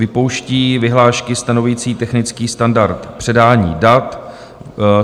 Vypouští vyhlášky stanovující technický standard předání dat.